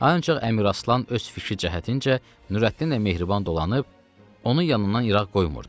Ancaq Əmiraslan öz fiki cəhətincə Nürəddinlə mehriban dolanıb onu yanından irağa qoymurdu.